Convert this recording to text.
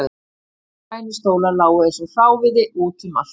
Beyglaðir grænir stólar lágu eins og hráviði út um allt